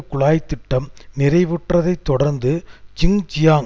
குழாய் திட்டம் நிறைவுற்றதை தொடர்ந்து ஜிங்ஜியாங்